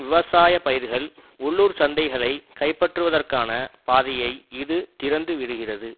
விவசாய பயிர்கள் உள்ளூர் சந்தைகளை கைப்பற்றுவதற்கான பாதையை இது திறந்து விடுகிறது